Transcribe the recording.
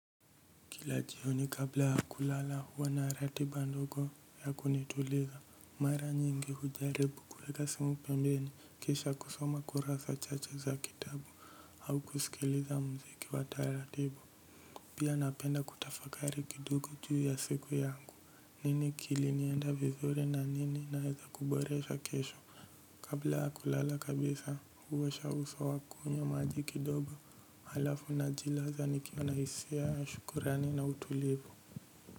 Kila jioni kabla ya kulala huwa na ratiba ndogo ya kunituliza mara nyingi hujaribu kuweka simu pembeni kisha kusoma kurasa chache za kitabu au kusikiliza mziki wa taratibu pia napenda kutafakari kidogo juu ya siku yangu nini kilinienda vizuri na nini naeza kuboresha kesho kabla ya kulala kabisa huosha uso au kunywa maji kidogo halafu najilaza nikiwa na hisia shukurani na utulivu.